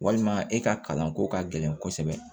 Walima e ka kalanko ka gɛlɛn kosɛbɛ